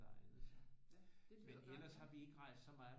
Der egnede sig men ellers har vi ikke rejst så meget